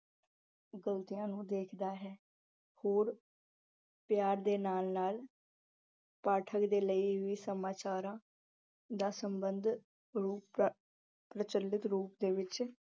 ਗਲਤਿਆਂ ਨੂੰ ਦੇਖਦਾ ਹੈ ਹੋਰ ਪਿਆਰ ਦੇ ਨਾਲ-ਨਾਲ ਪਾਠਕ ਦੇ ਲਈ ਹੀ ਸਮਾਚਾਰਾਂ ਨਾਲ ਸਬੰਧ ਰੂਪ ਦਾ ਅਹ ਪ੍ਰਚਿੱਲਤ ਰੂਪ ਵਿੱਚ ਦੇਖਦਾ ਹੈ।